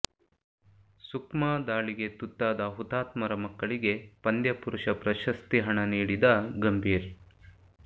ಸುಕ್ಮಾ ದಾಳಿಗೆ ತುತ್ತಾದ ಹುತಾತ್ಮರ ಮಕ್ಕಳಿಗೆ ಪಂದ್ಯ ಪುರುಷ ಪ್ರಶಸ್ತಿ ಹಣ ನೀಡಿದ ಗಂಭೀರ್